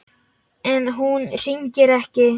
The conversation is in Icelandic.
En hún hringir ekki.